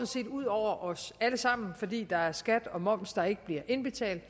set ud over os alle sammen fordi der er skat og moms der ikke bliver indbetalt